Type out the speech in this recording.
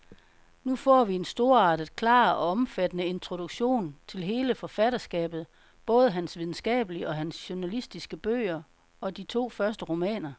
Nu får vi en storartet, klar og omfattende introduktion til hele forfatterskabet, både hans videnskabelige og hans journalistiske bøger og de to første romaner.